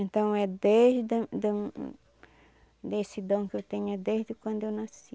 Então é desde da da desse dom que eu tenho é desde quando eu nasci.